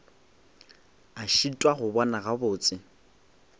a šitwa go bona gabotse